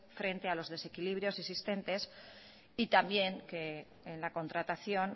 frente a los desequilibrios existentes y también que en la contratación